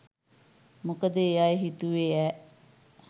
මොකද ඒ අය හිතුවේ ඈ